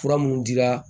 Fura minnu dira